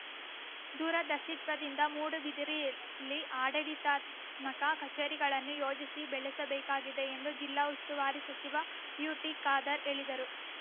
ದೂರದರ್ಶಿತ್ವದಿಂದ ಮೂಡುಬಿದಿರೆಯಲ್ಲಿ ಆಡಳೀತಾತ್ಮಕ ಕಛೇರಿಗಳನ್ನು ಯೋಜಿಸಿ ಬೆಳೆಸಬೇಕಾಗಿದೆ ಎಂದು ಜಿಲ್ಲಾ ಉಸ್ತುವಾರಿ ಸಚಿವ ಯುಟಿಖಾದರ್ ಹೇಳಿದರು